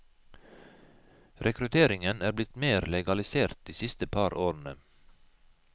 Rekrutteringen er blitt mer legalisert de siste par årene.